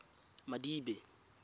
madibe